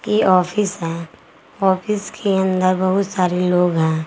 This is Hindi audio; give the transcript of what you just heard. ये ऑफीस है ऑफिस के अंदर बहुत सारे लोग हैं।